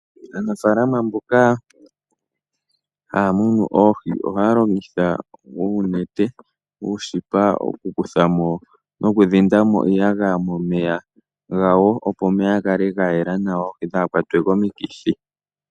Aanafaalama mboka ha ya munu oohi oha yalongitha uunete, uushipa oku kuthamo nokudhindamo iiyagaya momeya gawo opo omeya ga kale ga yela nawa oohi dhaa hakwate komikithi.